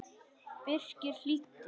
Birkir hlýddi.